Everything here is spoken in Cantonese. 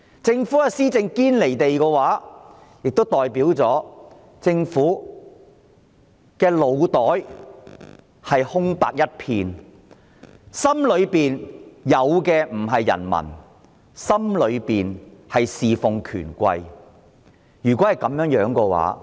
政府施政一旦"堅離地"，便代表政府的腦袋空白一片，在它的心中沒有人民，只想着侍奉權貴。